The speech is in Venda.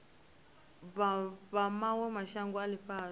vha mawe mashango a ifhasi